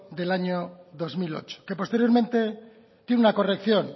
del año dos mil ocho que posteriormente tiene una corrección